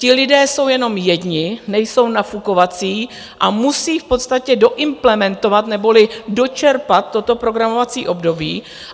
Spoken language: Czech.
Ti lidé jsou jenom jedni, nejsou nafukovací a musí v podstatě doimplementovat neboli dočerpat toto programovací období.